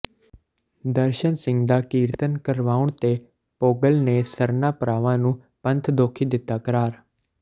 ਦਰਸ਼ਨ ਸਿੰਘ ਦਾ ਕੀਰਤਨ ਕਰਵਾਉਣ ਤੇ ਭੋਗਲ ਨੇ ਸਰਨਾ ਭਰਾਵਾਂ ਨੂੰ ਪੰਥਦੋਖੀ ਦਿੱਤਾ ਕਰਾਰ